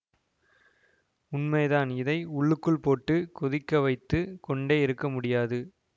உண்மைதான் இதை உள்ளுக்குள் போட்டு கொதிக்கவைத்துக் கொண்டே இருக்க முடியாது